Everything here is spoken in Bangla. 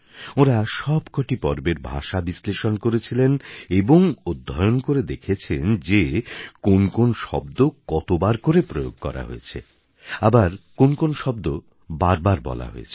ওঁরা সবকটি পর্বের ভাষা বিশ্লেষণ করেছিলেন এবং অধ্যয়ণ করে দেখেছেন যে কোনো কোনো শব্দ কতবার করে প্রয়োগ করা হয়েছে আবার কোন কোন শব্দ বার বার বলা হয়েছে